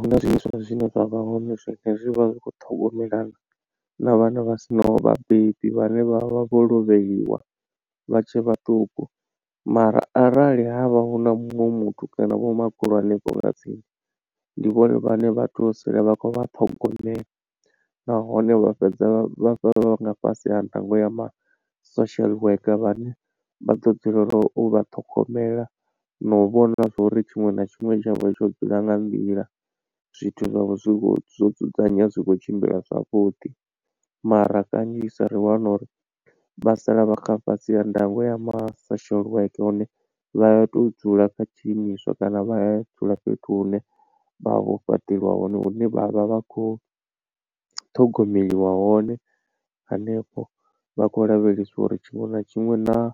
Huna zwiimiswa zwine zwa vha hone zwine zwi vha zwi khou ṱhogomelana na vhana vha sinaho vhabebi vhane vha vha vho lovheliwa vha tshe vhaṱuku. Mara arali havha hu na muṅwe muthu kana vho makhulu hanefho nga tsini ndi vhone vhane vha to sala vha khou vha ṱhogomela nahone vha fhedza vha nga fhasi ha ndango ya ma social worker vhane vha ḓo dzulela u vha ṱhogomela na u vhona zwa uri tshiṅwe na tshiṅwe tshavho tsho dzula nga nḓila. Zwithu zwavho zwi khou zwo dzudzanyea zwi khou tshimbila zwavhuḓi mara kanzhisa ri wana uri vha sala vha kha fhasi ha ndango ya ma social worker hune vha to dzula kha tshiimiswa kana vha dzula fhethu hune vha vho fhaṱeliwa hone hune vha vha vha khou ṱhogomeliwa hone hanefho vha khou lavhelesiwa uri tshiṅwe na tshiṅwe naa